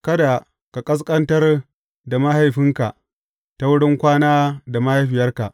Kada ka ƙasƙantar da mahaifinka ta wurin kwana da mahaifiyarka.